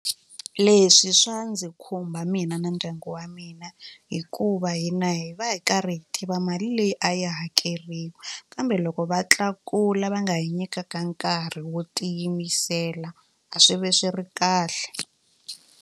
Leswi swa ndzi khumba mina na ndyangu wa mina hikuva hina hi va hi karhi hi tiva mali leyi a yi hakeriwa kambe loko va tlakula va nga hi nyikaka nkarhi wo tiyimisela a swi ve swi ri kahle.